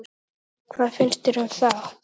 Erla: Hvað finnst þér um það?